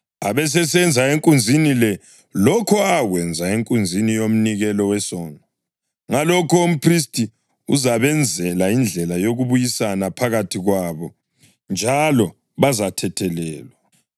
abesesenza enkunzini le lokho akwenza enkunzini yomnikelo wesono. Ngalokho umphristi uzabenzela indlela yokubuyisana phakathi kwabo, njalo bazathethelelwa.